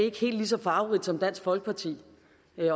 ikke helt så farverigt som dansk folkeparti